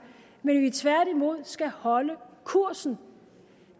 men at vi tværtimod skal holde kursen